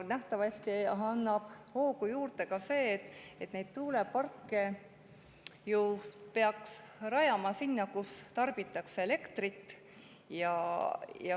Nähtavasti annab hoogu juurde ka see, et neid tuuleparke peaks ju rajama sinna, kus elektrit tarbitakse.